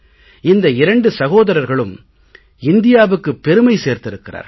இந்த இரண்டு சகோதரர்களும் இந்தியாவுக்கு பெருமை சேர்த்திருக்கிறார்கள்